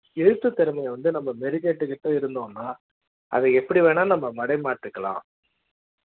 எழுத்து திறமையை வந்து நம்ம மெருகேற்றிக்கிட்டு இருந்தோம்னா அத எப்படி வேணா நம்ம மடை மாத்திக்கலாம்